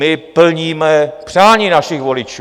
My plníme přání svých voličů.